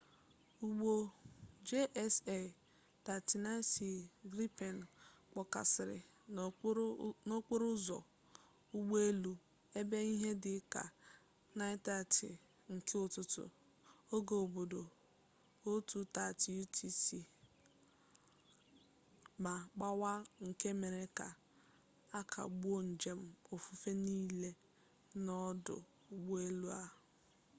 ụgbọ jas 39c gripen kpọkasịrị n'okporo ụzọ ụgbọelu ebe ihe dị ka 9:30 nke ụtụtụ oge obodo 0230 utc ma gbawaa nke mere ka a kagbuo njem ofufe niile n'odụ ụgbọelu a